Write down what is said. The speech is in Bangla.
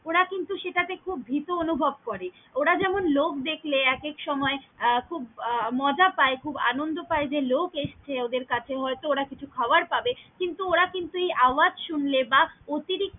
ওরা কিন্তু সেটা তে খুব ভিত অনুভব করে, ওরা যেমন লোক দেখলে এক এক সময় খুব আহ মজা পায় খুব আনন্দ পায় যে লোক এসছে ওদের কাছে হয়তো ওরা কিছু খাবার পাবে কিন্তু ওরা কিন্তু এই আওাজ সুনলে বা অতিরিক্ত।